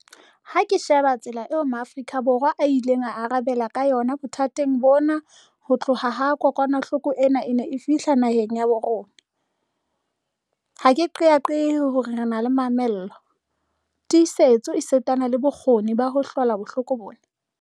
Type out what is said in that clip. Ha ke sheba tsela eo Maafrika Borwa a ileng a arabela ka yona bothateng bona ho tloha ha kokwanahloko ena e ne e fihla naheng ya habo rona, ha ke qeaqee hore re na le mamello, tiisetso esitana le bona bokgoni ba ho hlola bohloko bona.